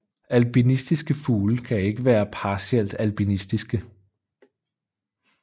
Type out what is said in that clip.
Albinistiske fugle kan ikke være partielt albinistiske